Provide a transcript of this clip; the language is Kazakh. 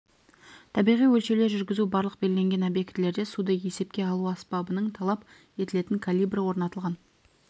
табиғи өлшеулер жүргізу барлық белгіленген объектілерде суды есепке алу аспабының талап етілетін калибрі орнатылған